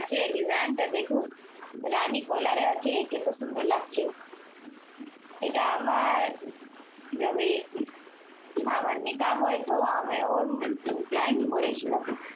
আচ্ছা design টা দেখুন। রানী color আছে। কিন্তু সুন্দর লাগছে। এটা আমার যবে আমার নিকা হয় তো আমি ওই time পড়েছিলাম।